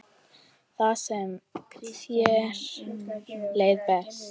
Þar sem þér leið best.